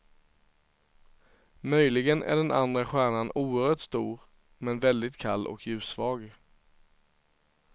Möjligen är den andra stjärnan oerhört stor men väldigt kall och ljussvag.